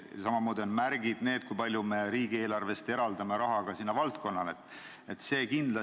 Samamoodi on märk see, kui palju me riigieelarvest sellele valdkonnale raha eraldame.